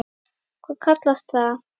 Hvað kallast það?